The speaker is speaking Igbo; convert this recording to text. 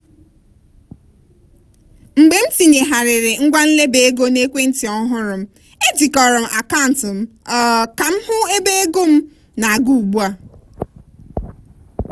mgbe m tinyegharịrị ngwa nleba ego n'ekwe ntị ọhụrụ m ejikọrọ akaụntụ m um ka m hụ ebe ego m na-aga ugbu a.